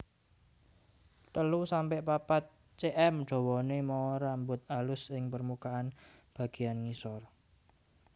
telu sampe papat cm dawané mawa rambut alus ing permukaan bagéyan ngisor